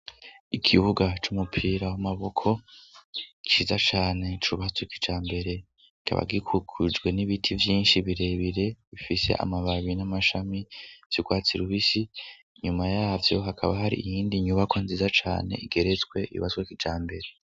Ikibuga c'umupira w'amaboko ciza cane cubatswe kijambere kikaba gikikujwe n'ibiti vyinshi birebire bifise amababi n'amashami vyurwatsi rubisi nyuma yavyo hakaba hari iyindi nyubako nziza cane igeretswe yubatswe kijambere.